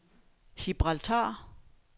Gibraltar